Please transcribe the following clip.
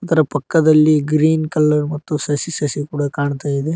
ಅದರ ಪಕ್ಕದಲ್ಲಿ green colour ಮತ್ತು ಸಸಿ ಸಸಿ ಕೂಡ ಕಾಣ್ತಾ ಇದೆ.